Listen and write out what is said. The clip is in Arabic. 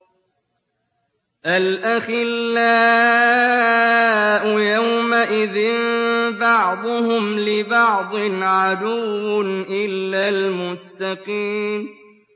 الْأَخِلَّاءُ يَوْمَئِذٍ بَعْضُهُمْ لِبَعْضٍ عَدُوٌّ إِلَّا الْمُتَّقِينَ